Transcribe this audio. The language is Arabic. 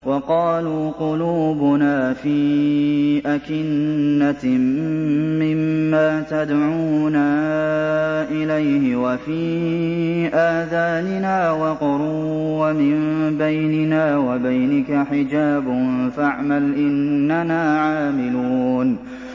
وَقَالُوا قُلُوبُنَا فِي أَكِنَّةٍ مِّمَّا تَدْعُونَا إِلَيْهِ وَفِي آذَانِنَا وَقْرٌ وَمِن بَيْنِنَا وَبَيْنِكَ حِجَابٌ فَاعْمَلْ إِنَّنَا عَامِلُونَ